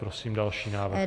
Prosím další návrh.